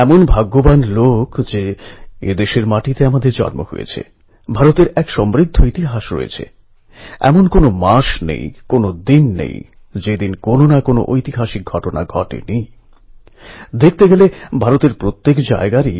এমন কত দুঃস্থ পরিবারের ছাত্র আছে যারা প্রতিকূল অবস্থার মধ্যেই নিজেদের পরিশ্রম আর মনযোগকে সম্বল করে এমন কিছু করে দেখিয়েছে যা আমাদের সকলকে প্রেরণা যোগায়